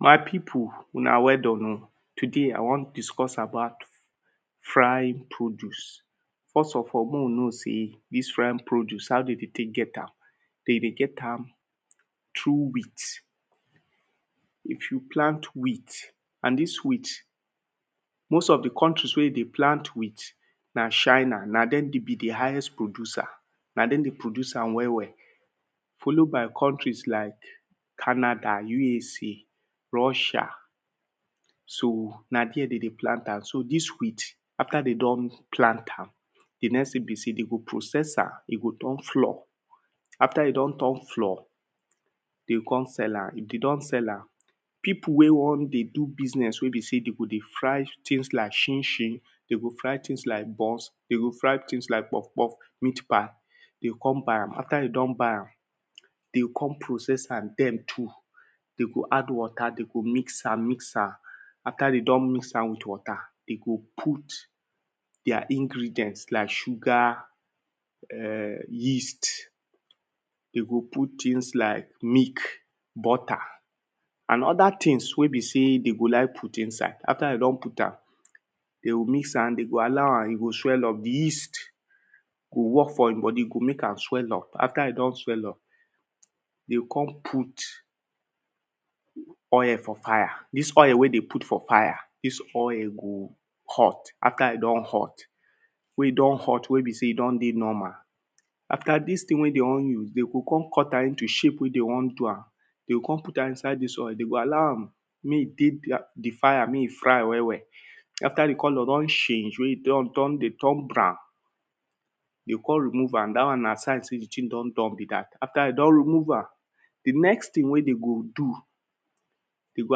my pipu una weldone oh. today i won discuss about fry produce first of all mey we know sey dis fry produce how de dey tek get am? dey dey get am through wheat. if you plant wheat, and dis wheat most of di countries wey dey plant wheat, na china na dem be di highest producer na dem dey produce am well well follow by countries like canada, usa russia, so na there de dey plant am so dis wheat after de don plant am di next thing be sey they go process am e go turn floor, after e doon turn floor, dey o kon sell am. if de don sell am, pipu wey won dey do business wey be sey dey go fry things like chinchin, dey go fry things like buns de go fry things like poff poff, meat-pie, dey o kon buy am after de don buy am de o kon process am dem too dey go con add water de go mix am mix am after de don mix am wit water de go put their ingredient like sugar, yeast, de go put things like milk, butter, and other things wey be sey they go like put inside, after de don put am, de go mix am, dey go allow am e go sweel up, di yeast go work for he bodi dey go mek am swell up after e don swell up de o kon put oil for fire, dis oil wey dem put for fire, dis oil go hot aftr e don hot, wey e don hot wey be ey e dey normal, after dis thing wey de won use, dey go kon cut am into shape wey dey won do am, de o kon put am inside dis oil, de go allow am mey e dey di fire mey e fry well well after di color don cange mey e turn brown, you o kon remove am dat won na signs wey be sey di thing don done be dat. after dey don remove am, di next thing wey de go do, den go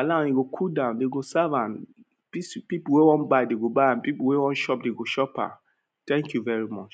allow am e go cool down, den go serve am pipu wey won buy go buy am, pipu wey won chop go chop am thank you very much.